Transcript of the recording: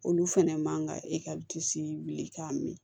Olu fɛnɛ man ka e disi wuli k'a min